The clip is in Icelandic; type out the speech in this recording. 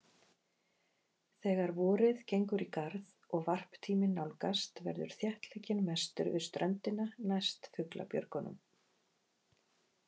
Þegar vorið gengur í garð og varptíminn nálgast verður þéttleikinn mestur við ströndina, næst fuglabjörgunum.